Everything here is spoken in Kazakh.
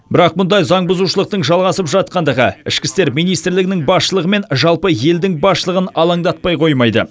бірақ мұндай заңбұзушылықтың жалғасып жатқандығы ішкі істер министрлігінің басшылығы мен жалпы елдің басшылығын алаңдатпай қоймайды